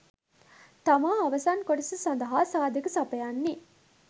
තමා අවසන් කොටස සඳහා සාධක සපයන්නේ